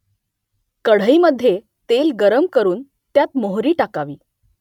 कढईमधे तेल गरम करून त्यात मोहरी टाकावी